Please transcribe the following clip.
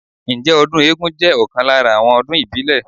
Ǹjẹ́ ọdún eégún jẹ́ ọ̀kan lára àwọn ọdún ìbílẹ̀?